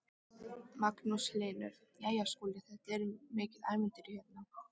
Magnús Hlynur: Jæja Skúli þetta var mikið ævintýri hérna?